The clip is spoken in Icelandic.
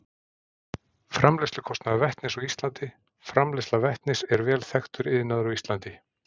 Framleiðslukostnaður vetnis á Íslandi Framleiðsla vetnis er vel þekktur iðnaður á Íslandi.